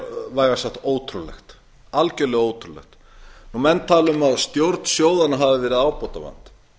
vægast sagt ótrúlegt menn tala um að stjórn sjóðanna hafi verið ábótavant